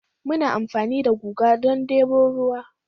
Muna amfani da guga don debo ruwa